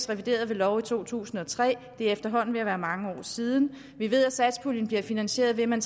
revideret ved lov i to tusind og tre og det er efterhånden ved at være mange år siden vi ved at satspuljen bliver finansieret ved at man